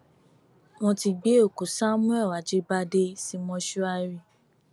wọn ti gbé òkú samuel ajíbádé sí mọṣúárì